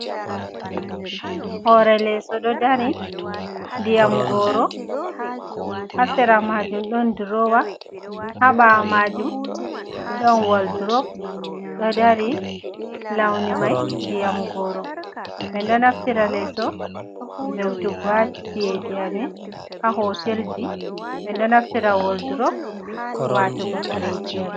Hore leso ɗo dari diyam goro, ha sera majum ɗon durowa ha ɓawo majum ɗon waldurop ɗo dari, launi mai diyam goro. men naftira leso ve'utugo ha chiyeji yamin, ha hotelji ɓen naftira waldurop watugo kareji yamin.